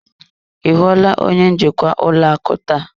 Ị hụla onye njikwa ụlọ akụ taa?